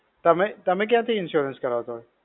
તમે, તમે ક્યાંથી insurance કરાવતા હતા?